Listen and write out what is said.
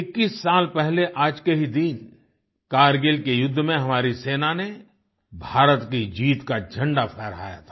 21 साल पहले आज के ही दिन कारगिल के युद्ध में हमारी सेना ने भारत की जीत का झंडा फहराया था